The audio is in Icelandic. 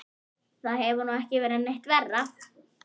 Það hefði nú ekki verið neitt verra.